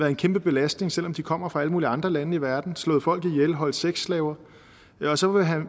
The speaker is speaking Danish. en kæmpe belastning selv om de kommer fra alle mulige andre lande i verden har slået folk ihjel har holdt sexslaver og så